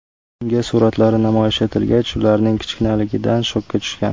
Unga suratlari namoyish etilgach, ularning kichkinaligidan shokka tushgan.